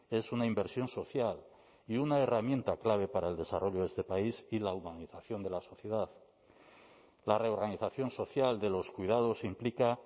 es una inversión social y una herramienta clave para el desarrollo de este país y la organización de la sociedad la reorganización social de los cuidados implica